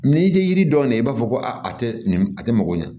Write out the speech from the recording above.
N'i tɛ yiri dɔn ne b'a fɔ ko a tɛ nin a tɛ mako ɲɛ